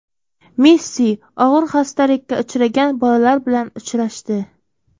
Messi og‘ir xastalikka uchragan bolalar bilan uchrashdi.